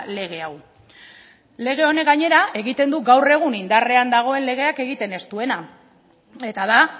lege hau lege honek gainera egiten du gaur egun indarrean dagoen legeak egiten ez duena eta da